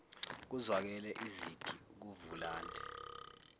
kuzwakale izigi kuvulandi